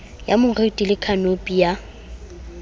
ya moriti le khanopi ya